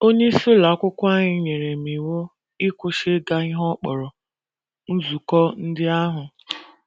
Onyeisi ụlọ akwụkwọ anyị nyere m iwu ịkwụsị ịga ihe ọ kpọrọ “ nzukọ ndị ahụ. ”